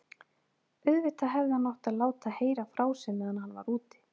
Auðvitað hefði hann átt að láta heyra frá sér meðan hann var úti.